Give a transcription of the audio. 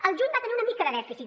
al juny va tenir una mica de dèficit